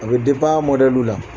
A bɛ a mɔdɛliw la